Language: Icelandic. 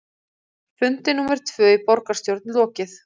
Fundi númer tvö í borgarstjórn lokið